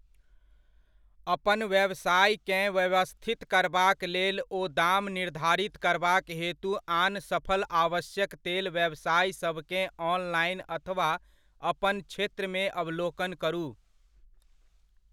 अपन व्यवसायकेँ व्यवस्थित करबाक लेल ओ दाम निर्धारित करबाक हेतु आन सफल आवश्यक तेल व्यवसायसभकेँ ऑनलाइन अथवा अपन क्षेत्रमे अवलोकन करू।